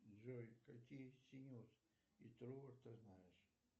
джой какие синеус и трувор ты знаешь